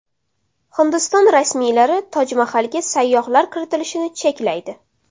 Hindiston rasmiylari Toj Mahalga sayyohlar kiritilishini cheklaydi.